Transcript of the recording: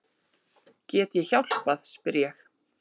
Get ég hjálpað spyr ég.